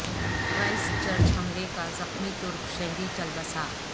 Christ church حملے کا زخمی ترک شہری چل بسا